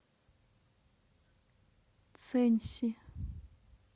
цэньси